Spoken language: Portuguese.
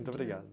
Muito obrigado.